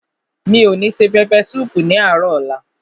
Mi ò ní se pẹpẹ súùpù ní àárò ọ̀la.